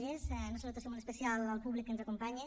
doncs una salutació molt especial al públic que ens acompanya